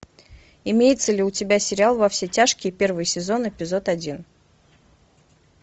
имеется ли у тебя сериал во все тяжкие первый сезон эпизод один